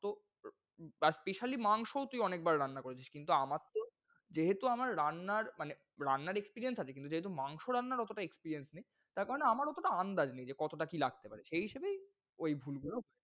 তো, পাঁচমিশালি মাংসও তুই অনেকবার রান্না করেছিস কিন্তু আ মারতো যেহেতু আমার রান্নার মানে রান্নার experience আছে কিন্তু যেহেতু মাংস রান্নার অতোটা experience নেই। তার কারণে আমার অতোটা আন্দাজ নেই, যে কতোটা কি লাগতে পারে সেই হিসেবেই ঐ ভুলগুলো।